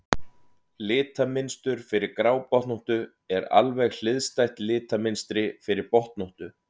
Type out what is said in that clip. litamynstur fyrir grábotnóttu er alveg hliðstætt litamynstri fyrir botnóttu